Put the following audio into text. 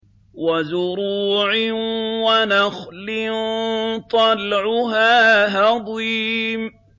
وَزُرُوعٍ وَنَخْلٍ طَلْعُهَا هَضِيمٌ